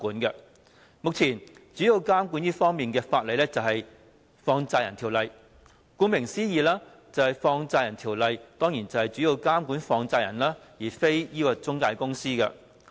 目前，這方面主要的監管法例是《放債人條例》。顧名思義，《放債人條例》主要是監管放債人，而非中介公司。